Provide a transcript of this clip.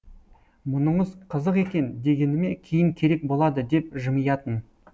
мұныңыз қызық екен дегеніме кейін керек болады деп жымиятын